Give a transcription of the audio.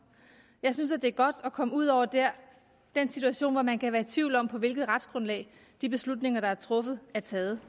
jeg synes at det er godt at komme ud over den situation hvor man kan være i tvivl om på hvilket retsgrundlag de beslutninger der er truffet er taget